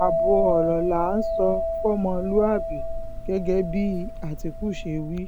ààbọ̀ ọ̀rọ̀ là á sọ fọmọlúàbí gẹ́gẹ́ bí àtìkù ṣe wí